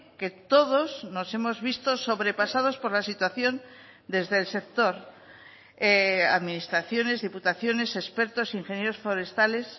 que todos nos hemos visto sobrepasados por la situación desde el sector administraciones diputaciones expertos ingenieros forestales